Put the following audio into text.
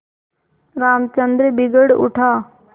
रामचंद्र बिगड़ उठा